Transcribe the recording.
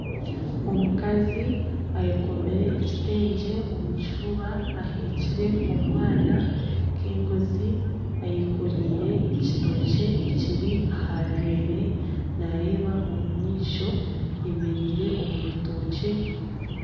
Omukazi ayekomire ekitengye omu kifuba aheekire omwana nka engozi, ayekoreire ekitookye ekiri aha rurere nareeba omumaisho ayemereire omu rutookye.